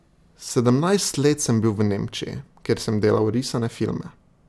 Sedemnajst let sem bil v Nemčiji, kjer sem delal risane filme.